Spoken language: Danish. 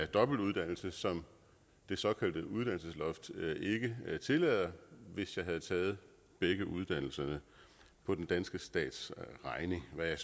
dobbeltuddannelse som det såkaldte uddannelsesloft ikke tillader hvis jeg havde taget begge uddannelserne på den danske stats regning hvad jeg